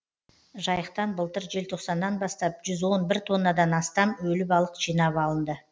жайықтан былтыр желтоқсаннан бастап жүз он бір тоннадан астам өлі балық жинап алынды